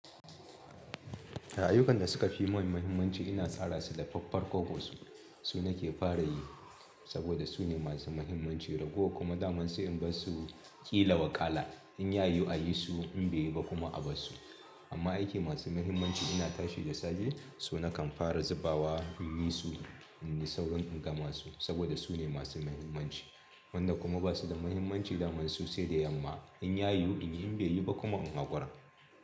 Ayyukan da suka fi man muhimmanci ina tsara su da faffarkokos. Su nake fara yi saboda su ne masu mahimmanci ragowar kuma daman sai in bar su ƙila wa kala. In ya yiwu a yi su in bai yi ba kuma a bar su. Imma aiki masu mahimmanci ina tashi da safe su na kan fara zubawa inyi su inyi saurin gamasu saboda sune masu mahimmanci wanda kuma ba su da muhimmanci daman su sai da yamma. In ya yiwu in yi, in bai yiwu ba kuma in haƙura.